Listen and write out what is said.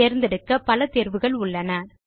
தேர்ந்தெடுக்க பல தேர்வுகள் உள்ளன